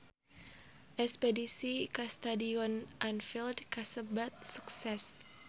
Espedisi ka Stadion Anfield kasebat sukses